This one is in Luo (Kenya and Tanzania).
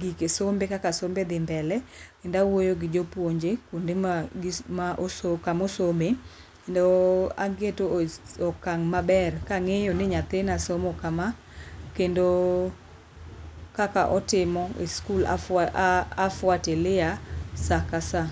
gike sombe kaka dhii mbele kendo awuoyo gi jopuonje kuonde ma ma kama osome kendo ageto okang' maber ka ng'eyo ni nyathina somo sama kama. Kendo kaka otimo e skul a fuatilia saa ka saa.